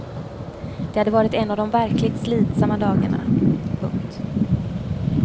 Det hade varit en av de verkligt slitsamma dagarna. punkt